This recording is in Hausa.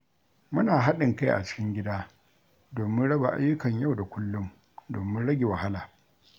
Muna haɗin kai a cikin gida domin raba ayyukan yau da kullum domin rage wahala.